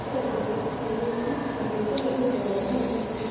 ସାର ମୋର ଡାଏବେଟିସ ସବୁବେଳ ବଢ଼ା ରହୁଛି